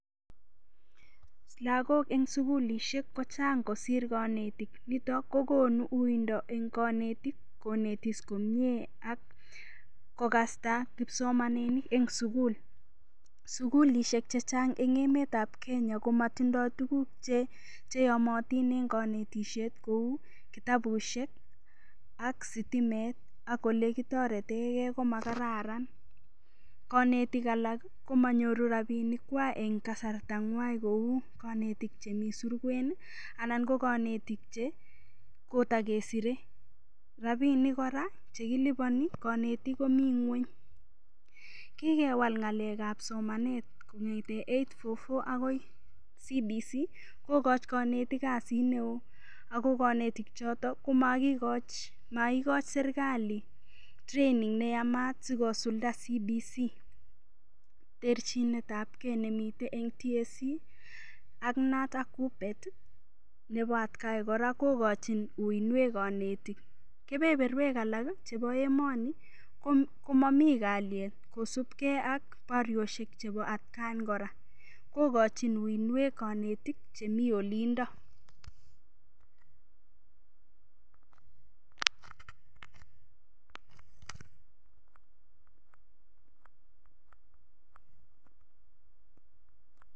Lokok en sukulishek ko chang kosir konetik niton kokonu uindo en konetik konetis komie ak kokasta kipsomaninik en sukul. Sukulishek chechang en emetab Kenya komotindo tukuk che cheyomotin en kinetishet kou kitabushek ak sitimet ak ole kotoreten gee ko makaran, konetik alak komonyoru rabinik kwak en kasarta ngwany kou konetik chemii surwek kii anan ko konetik che koto kesiren. Rabinik Koraa chekiliboni konetuk komii ngweny, kikewal ngalekab somanet kongeten eight four four akoi CBC kokochi konetik kasit neo ako koneyik choton komokikoch mokoi serkali training neyaman sikosilda CBC. Terchinetab gee nemiten en TSC an noton kubet net atagan kokochin uinwek konetik. Kebeberwek alak kii chebo emoni komomii kalyet kosibgee ak borioshek chebo atgan Koraa kokochin uingwek konetik chemii olindo[]pause].